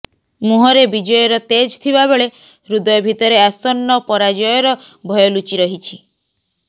ମୁହଁରେ ବିଜୟର ତେଜ ଥିବାବେଳେ ହୃଦୟ ଭିତରେ ଆସନ୍ନ ପରାଜୟର ଭୟ ଲୁଚି ରହିଛି